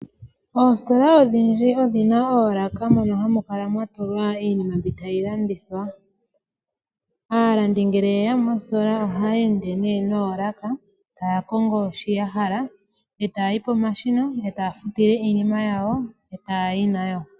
Oositola odhindji odhina oolaka mono hamu kala mwa tulwa iinima mbi tayi landithwa. Aalandi ngele yeya moositola ohaya ende nee noolaka . Taya kongo shi yahala etaya yi pomashina etaya futile iinima yawo eta ya yi nayo.